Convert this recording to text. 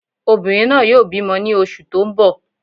Obìnrin náà yóò bímọ ní oṣù tó n bọ̀